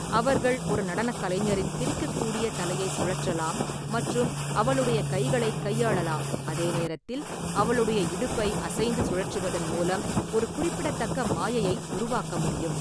அவர்கள் ஒரு நடனக் கலைஞரின் பிரிக்கக்கூடிய தலையை சுழற்றலாம் மற்றும் அவளுடைய கைகளைக் கையாளலாம், அதே நேரத்தில் அவளுடைய இடுப்பை அசைந்து சுழற்றுவதன் மூலம் ஒரு குறிப்பிடத்தக்க மாயையை உருவாக்க முடியும்.